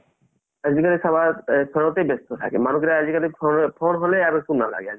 আজিকালি চাবা phone তে ব্যস্ত থাকে মানুহ বিলাক আজিকালি phone হ'লে আৰু একো নালাগে